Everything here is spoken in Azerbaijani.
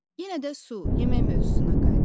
Yenə də su, yemək mövzusuna qayıdaq.